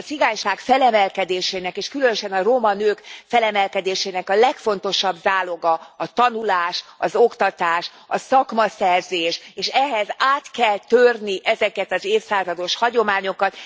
A cigányság felemelkedésének, és különösen a roma nők felemelkedésének a legfontosabb záloga a tanulás, az oktatás, a szakmaszerzés, és ehhez át kell törni ezeket az évszázados hagyományokat.